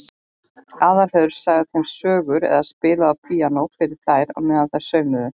Aðalheiður sagði þeim sögur eða spilaði á píanó fyrir þær á meðan þær saumuðu.